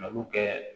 Mali kɛ